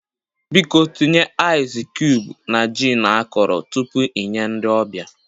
Biko tinye aịzị cubuu na jin akọrọ tupu ị nye ndị ọbịa